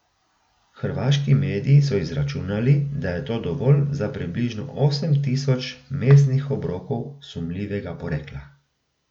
Hrvaški mediji so izračunali, da je to dovolj za približno osem tisoč mesnih obrokov sumljivega porekla.